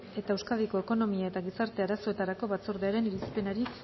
eta euskadiko ekonomia eta gizarte arazoetarako batzordearen irizpenari